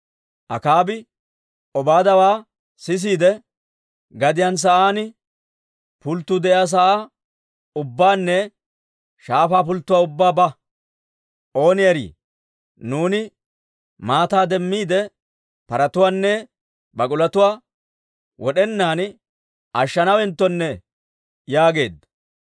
Akaabi Obaadiyaa s'eesiide, «Gadiyaan sa'aan pulttuu de'iyaa sa'aa ubbaanne shaafaa pulttuwaa ubbaa ba. Ooni erii, nuuni maataa demmiide paratuwaanne bak'ulotuwaa wod'enaan ashshanaawenttone» yaageedda.